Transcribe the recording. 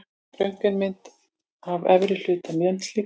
Röntgenmynd af efri hluta mannslíkama.